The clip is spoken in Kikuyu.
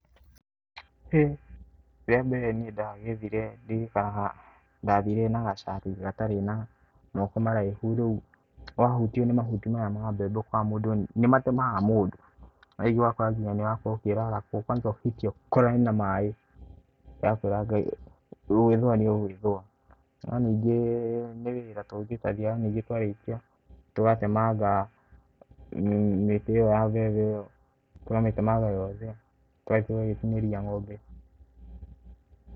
Rĩa mbere niĩ ndagethire ndirikanaga ndathire na gacati gatarĩ na moko maraihu. Rĩu wahutio nĩ mahuti maya ma mbembe ũgakora mũndũ, nĩ matemaga mũndũ. Na rĩngĩ ũgakora nginya nĩ ũrakorwo ũkĩrarakwo, kwanza ũhĩtie ũkorane na maĩ, ndĩrakwĩra Ngai gũĩthũa nĩ ũgũĩthũa. No ningĩ nĩ wĩra tũgĩtagia ningĩ twarĩkia tũgatemanga mĩtĩ ĩyo ya mbembe. Tũka mĩtemanga yothe tũgagĩthiĩ tũgagĩtinĩria ng'ombe.